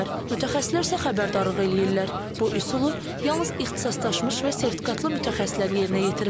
Mütəxəssislər isə xəbərdarlıq eləyirlər, bu üsulu yalnız ixtisaslaşmış və sertifikatlı mütəxəssislər yerinə yetirməlidir.